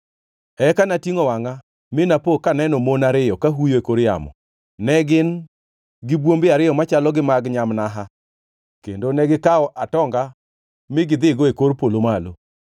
Eka natingʼo wangʼa, mi napo kaneno mon ariyo ka huyo e kor yamo. Ne gin gi bwombe ariyo machalo gi mag nyamnaha, kendo negikawo atonga mi gidhigo e kor polo malo.